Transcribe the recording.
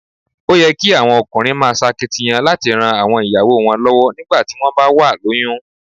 Ó yẹ kí àwọn ọkùnrin máa ṣakitiyan láti ran àwọn ìyàwó wọn lọ́wọ́ nígbà tí wón bá wà lóyún.